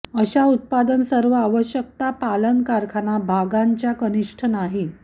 अशा उत्पादन सर्व आवश्यकता पालन कारखाना भागांच्या कनिष्ठ नाही